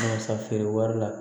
Walasa feere wari la